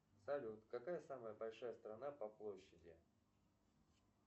салют какая самая большая страна по площади